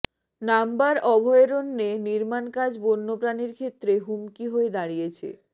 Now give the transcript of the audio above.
নামবর অভয়ারণ্যে নির্মাণ কাজ বন্যপ্ৰাণীর ক্ষেত্ৰে হুমকি হয়ে দাঁড়িয়েছে